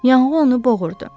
Yanğı onu boğurdu.